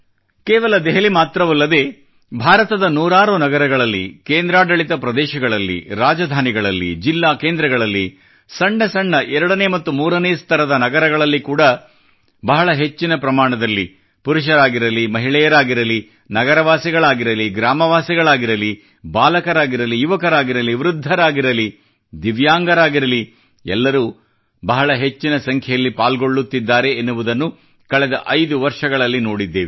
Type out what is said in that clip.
ಕೇವಲ ದೆಹಲಿ ಮಾತ್ರವಲ್ಲದೇ ಭಾರತದ ನೂರಾರು ನಗರಗಳಲ್ಲಿ ಕೇಂದ್ರಾಡಳಿತ ಪ್ರದೇಶಗಳಲ್ಲಿ ರಾಜಧಾನಿಗಳಲ್ಲಿ ಜಿಲ್ಲಾ ಕೇಂದ್ರಗಳಲ್ಲಿ ಸಣ್ಣ ಸಣ್ಣ ಎರಡನೇ ಮತ್ತು ಮೂರನೇ ಸ್ತರದ ನಗರಗಳಲ್ಲಿ ಕೂಡಾ ಬಹಳ ಹೆಚ್ಚಿನ ಪ್ರಮಾಣದಲ್ಲಿ ಪುರುಷರಾಗಿರಲಿ ಮಹಿಳೆಯರಾಗಿರಲಿ ನಗರ ವಾಸಿಗಳಾಗಿರಲಿ ಗ್ರಾಮವಾಸಿಗಳಾಗಿರಲಿ ಬಾಲಕರಾಗಿರಲಿ ಯುವಕರಾಗಿರಲಿ ವೃದ್ಧರಾಗಿರಲಿ ದಿವ್ಯಾಂಗರಾಗಿರಲಿ ಎಲ್ಲರೂ ಬಹಳ ಹೆಚ್ಚಿನ ಸಂಖ್ಯೆಯಲ್ಲಿ ಪಾಲ್ಗೊಳ್ಳುತ್ತಿದ್ದಾರೆ ಎನ್ನುವುದನ್ನು ಕಳೆದ ಐದು ವರ್ಷಗಳಲ್ಲಿ ನೋಡಿದ್ದೇವೆ